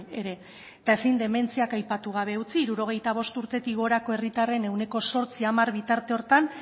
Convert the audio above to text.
ere eta ezin dementziak aipatu gabe utzi hirurogeita bost urtetik gorako herritarren ehuneko zortzihamar bitarte horretan